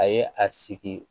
A ye a sigi